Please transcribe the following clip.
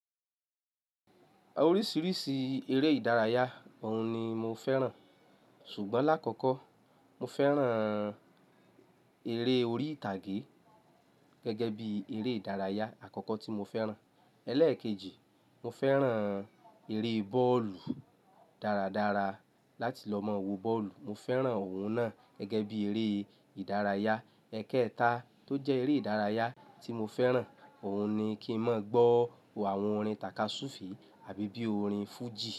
Oríṣiríṣi eré ìdárayá òun ni mo fẹ́ràn. Ṣùgbọ́n lákọ̀kọ́ mo fẹ́ràn eré orí ìtàgé gẹ́gẹ́ bí eré ìdárayá àkọ́kọ́ tí mo fẹ́ràn. Ẹ̀lẹ́ẹ̀kejì, mo fẹ́ràn eré bọ́ọ̀lù dáradára láti lọ mọ wo bọ́ọ̀lù. Mo fẹ́ràn òun náà gẹ́gẹ́ bí eré ìdárayá. Ẹ̀kẹẹ̀ta tó jẹ́ eré ìdárayá tí mo fẹ́ràn, òun ni kí n mọ gbọ́ àwọn orin takasùfi àbí bí i orin Fuji.